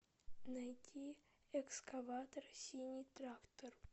найди экскаватор синий трактор